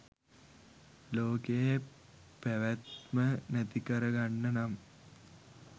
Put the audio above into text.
ලෝකයේ පැවැත්ම නැතිකර ගන්න නම්